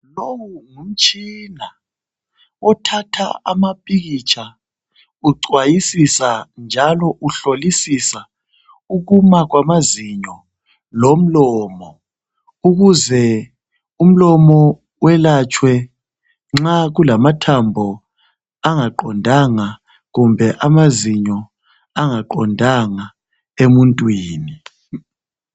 Lowu ngumtshina othatha amapikitsha ugcwayisisa njalo uhlolisisa ukuma kwamazinyo lomlomo ukuze umlomo welatshwe nxa kulamathambo angaqondanaga kumbe amazinyo angaqondanaga emuntwini